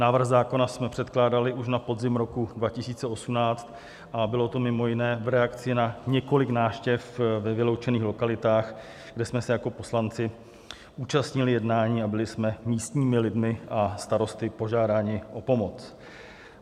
Návrh zákona jsme předkládali už na podzim roku 2018 a bylo to mimo jiné v reakci na několik návštěv ve vyloučených lokalitách, kde jsme se jako poslanci účastnili jednání a byli jsme místními lidmi a starosty požádáni o pomoc.